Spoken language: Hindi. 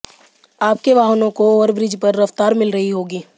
आपके वाहनों को ओवरब्रिज पर रफ्तार मिल रही होगी